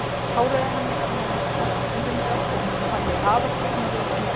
Hárið á henni var nánast svart, húðin dökk og hún hafði afar tignarlegt nef.